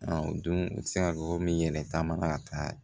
A o dun i bi se ka gafo min yɛlɛ taama ka taa